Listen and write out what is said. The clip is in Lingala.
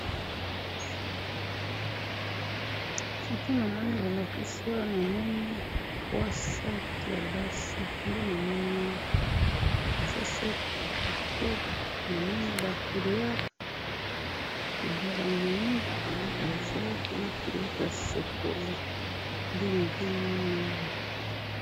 foto namoni bolakisi awa namoni 3 sac ya basi nde namoni awa eza sac ya kitoko namoni ba couleur ,couleur ya mwindu, couleur ya vert na couleur ya chocolat nde nazomona awa.